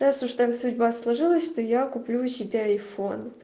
раз уж так судьба сложилась то я куплю себе айфон